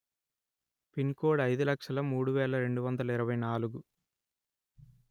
pin code అయిదు లక్షలు మూడు వేల రెండు వందలు ఇరవై నాలుగు